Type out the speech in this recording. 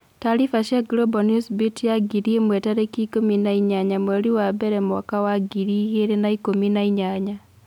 Tariba cia Global Newsbeat ya ngiri imwe tarĩkĩ ikũmi ma inyanya mweri wa mbere mwaka wa ngiri igĩrĩ na ikũmi na inyanya.